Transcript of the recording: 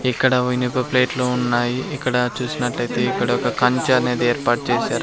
ఇక్కడ ఇనుప ప్లేట్లు ఉన్నాయి. ఇక్కడ చూసినట్లయితే ఇక్కడ ఒక కంచె అనేది ఏర్పాటు చేసారు.